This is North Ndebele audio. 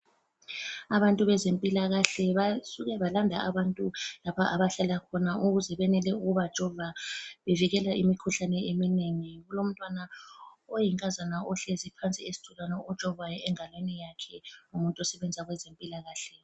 Abantu bezempilakahle basuke balanda abantu lapha abahlala khona ukuze benele ukubajova bevikela imikhuhlane eminengi kulomntwana oyinkazana ohlezi phansi esitulweni ojovwayo engalweni yakhe ngumuntu osebenza kwezempilakahle.